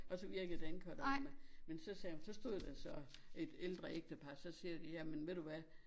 Og så virkede dankortautomat men så sagde hun så stod der så et ældre ægtepar så siger de jamen ved du hvad